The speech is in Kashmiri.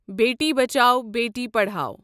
بیٹی بچاؤ بیٹی پڑھاو